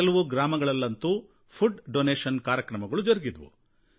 ಕೆಲವು ಗ್ರಾಮಗಳಲ್ಲಂತೂ ಆಹಾರ ದೇಣಿಗೆ ಕಾರ್ಯಕ್ರಮಗಳು ಜರುಗಿದವು